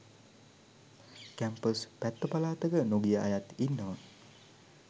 campus පැත්ත පලාතක නොගිය අයත් ඉන්නවා